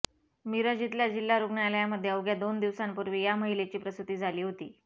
मिरज इथल्या जिल्हा रुग्णालयामध्ये अवघ्या दोन दिवसांपूर्वी या महिलेची प्रसुती झाली होती